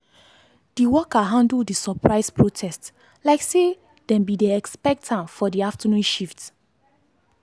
d worker handle the surprise protest like say dem be dey expect am for di afternoon shift.